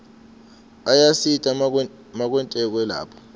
ayasita makwetekwe lapha